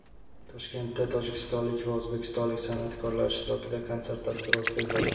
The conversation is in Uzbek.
Toshkentda tojikistonlik va o‘zbekistonlik san’atkorlar ishtirokida konsert dasturi o‘tkaziladi.